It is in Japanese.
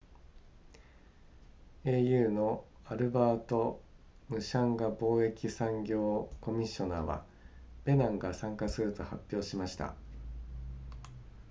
au のアルバートムシャンガ貿易産業コミッショナーはベナンが参加すると発表しました